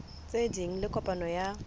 tse ding le kopano ya